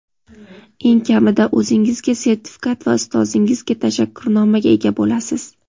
Eng kamida o‘zingizga sertifikat va ustozingizga tashakkurnomaga ega bo‘lasiz.